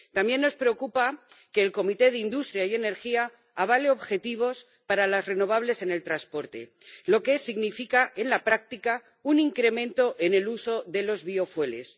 También nos preocupa que la Comisión de Industria, Investigación y Energía avale objetivos para las renovables en el transporte, lo que significa en la práctica un incremento en el uso de los biocombustibles.